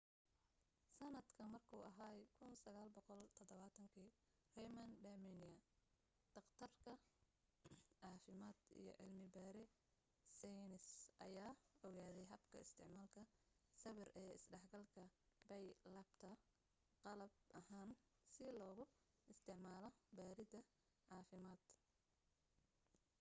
sanadka markuu ahaa 1970 raymond damadian dhaqtar caafimad iyo cilmi baare seynis ayaa ogaade habka isticmaalka sawir ee isdhexgalka bie-labta qalab ahaan si loogu isticmaalo baarid caafimaad